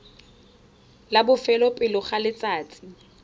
la bofelo pele ga letsatsi